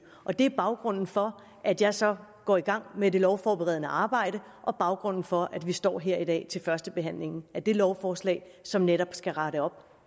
og det er baggrunden for at jeg så går i gang med det lovforberedende arbejde og baggrunden for at vi står her i dag til førstebehandlingen af det lovforslag som netop skal rette op